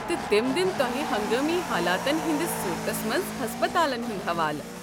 تہِ تِم دِن توہہِ ہنگٲمی حالاتن ہندِس صوٗرتس منز ہسپتالن ہُنٛد حوالہٕ۔